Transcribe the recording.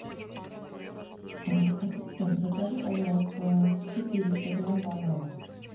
ассистент закажи пожалуйста четыреста грамм бананов